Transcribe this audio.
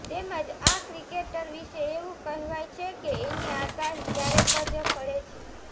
તેમજ આ ક્રિકેટર વિશે એવું કહેવાય છે કે એની આગાહી ક્યારેક જ ફળે છે